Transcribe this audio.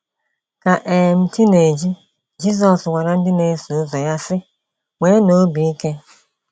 Ka um chi na - eji, Jizọs gwara ndị na - eso ụzọ ya si, “Nweenụ obi ike!